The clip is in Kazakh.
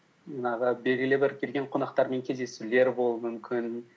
жаңағы белгілі бір келген қонақтармен кездесулер болуы мүмкін